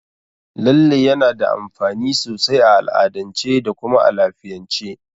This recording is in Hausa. Lalle yana da amfani sosai a al'adance da kuma a lafiyance.